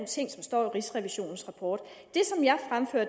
ting som står i rigsrevisionens rapport